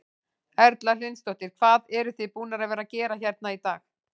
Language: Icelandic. Erla Hlynsdóttir: Hvað eruð þið búnar að vera að gera hérna í dag?